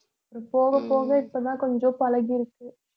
அப்புறம் போகப் போக இப்பதான் கொஞ்சம் பழகியிருக்கு